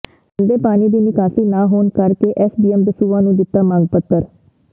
ਗੰਦੇ ਪਾਣੀ ਦੀ ਨਿਕਾਸੀ ਨਾ ਹੋਣ ਕਰਕੇ ਐਸਡੀਐਮ ਦਸੂਹਾ ਨੂੰ ਦਿੱਤਾ ਮੰਗ ਪੱਤਰ